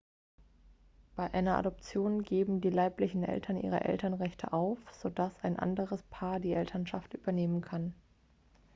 bei einer adoption geben die leiblichen eltern ihre elternrechte auf so dass ein anderes paar die elternschaft übernehmen kann